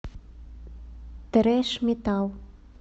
трэш метал